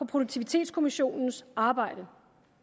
produktivitetskommissionens arbejde